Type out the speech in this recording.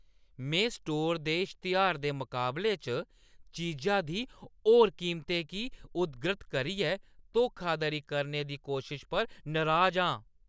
मैं स्टोर दे इश्तेहार दे मकाबले च चीजा दी होर कीमते गी उद्धृत करियै धोखाधड़ी करने दी कोशश पर नराज आं।